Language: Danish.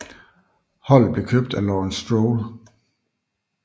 Holdet blev købt af Lawrence Stroll